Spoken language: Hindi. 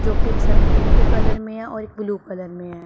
जो की एक से में पिंक कलर में है और एक ब्लू कलर में है।